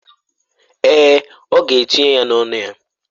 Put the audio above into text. Èè, ọ ga-etinye ya n’ọnụ ya.